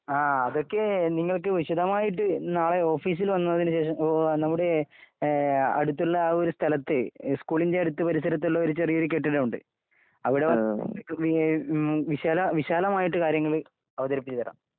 അതൊക്കെ നിങ്ങൾക്ക് വിശദമായിട്ട് നാളെ ഓഫീസിൽ വന്നതിന് ശേഷം നമ്മുടെ അടുത്തുള്ള ആ ഒരു സ്ഥലത്ത് സ്കൂളിന്റെ അടുത്ത് പരിസരത്തുള്ള ഒരു ചെറിയൊരു കെട്ടിടമുണ്ട് അവിടെ വന്നിട്ടുണ്ടെങ്കില്‍ വിശാലമായിട്ട് കാര്യങ്ങൾ അവതരിപ്പിച്ച് തരാം